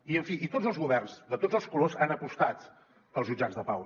i en fi tots els governs de tots els colors han apostat pels jutjats de pau